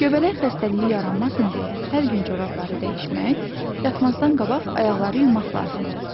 Göbələk xəstəliyi yaranmasın deyə hər gün corabları dəyişmək, yatmazdan qabaq ayaqları yumaq lazımdır.